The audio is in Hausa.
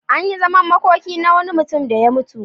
An yi zaman makoki na wani mutum da ya mutu.